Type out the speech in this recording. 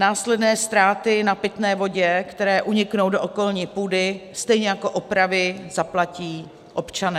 Následné ztráty na pitné vodě, které uniknou do okolní půdy, stejně jako opravy zaplatí občané.